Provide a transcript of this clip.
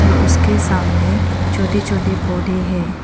और उसके सामने छोटे छोटे पौधे हैं।